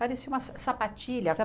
Parecia uma sapatilha.